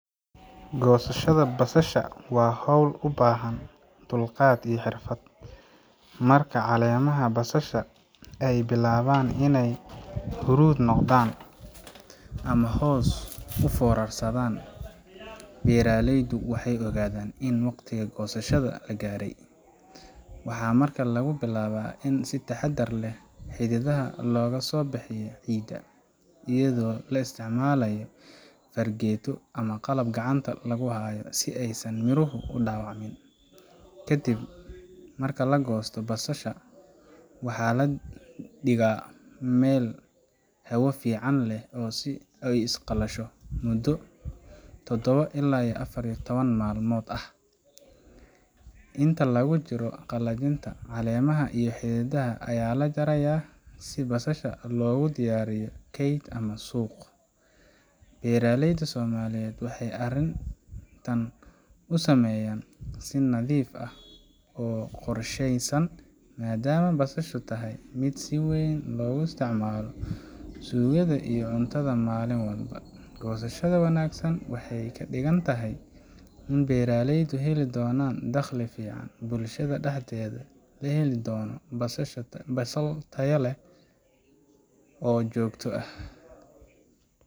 Goosashada basalaha waa hawl u baahan dulqaad iyo xirfad. Marka caleemaha basasha ay bilaabaan inay huruud noqdaan ama hoos u foorarsamaan, beeraleydu waxay ogaadaan in waqtigii goosashada la gaaray. Waxaa markaa lagu bilaabaa in si taxaddar leh xididdada looga soo bixiyo ciidda, iyadoo la isticmaalayo fargeeto ama qalab gacanta lagu hayo, si aysan miruhu u dhaawacmin. Kadib marka la goosto, basalaha waxaa la dhigaa meel hawo fiican leh si ooy u qalasho muddo todobo ilaa afar iyo towan maalmood ah. Inta lagu jiro qalajinta, caleemaha iyo xididdada ayaa la jarayaa si basasha loogu diyaariyo kayd ama suuq. Beeraleyda Soomaaliyeed waxay arrintan u sameeyaan si nadiif ah oo qorsheysan, maadaama basasha tahay mid si weyn loogu isticmaalo suugada iyo cuntada maalin walba. Goosashada wanaagsan waxay ka dhigan tahay in beeraleydu heli doonaan dakhli fiican, bulshada dhexdeedana la heli doono basasha tayo leh oo joogto ah.